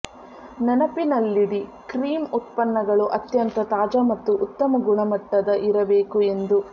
ನೆನಪಿನಲ್ಲಿಡಿ ಕ್ರೀಮ್ ಉತ್ಪನ್ನಗಳು ಅತ್ಯಂತ ತಾಜಾ ಮತ್ತು ಉತ್ತಮ ಗುಣಮಟ್ಟದ ಇರಬೇಕು ಎಂದು